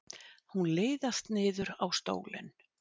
Hún liðast niður á stólinn.